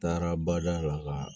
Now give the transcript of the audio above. Taara bada la ka